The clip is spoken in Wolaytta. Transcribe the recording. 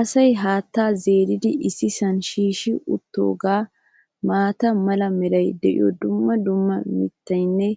asay haattaa zeeridi issisan shiishshi utoogaa maata mala meray diyo dumma dumma mitatinne